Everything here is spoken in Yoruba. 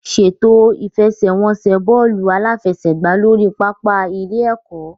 Ṣètò ìfẹsẹ̀wọnsẹ̀ bọ́ọ̀lù aláfẹsẹ̀gbá lórí pápá ilé-ẹ̀kọ́.